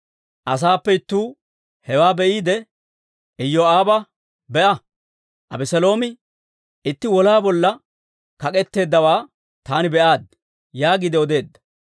Asaappe ittuu hewaa be'iide Iyoo'aaba, «Be'a! Abeseeloomi itti wolaa bolla kak'etteeddawaa taani be'aaddi» yaagiide odeedda.